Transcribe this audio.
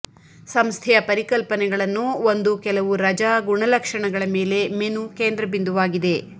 ಸಂಸ್ಥೆಯ ಪರಿಕಲ್ಪನೆಗಳನ್ನು ಒಂದು ಕೆಲವು ರಜಾ ಗುಣಲಕ್ಷಣಗಳ ಮೇಲೆ ಮೆನು ಕೇಂದ್ರಬಿಂದುವಾಗಿದೆ